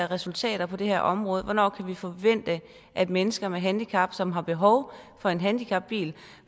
resultater på det her område hvornår kan vi forvente at mennesker med handicap som har behov for en handicapbil